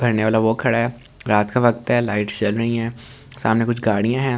भरने वाला वो खड़ा है रात का वक्त है लाइट्स जल रही है सामने कुछ गाड़ियां है।